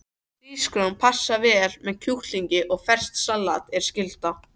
Hrísgrjón passa vel með kjúklingi og ferskt salat er skylda.